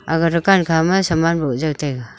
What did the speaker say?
aga dukan kha ma saman bow jaw taiga.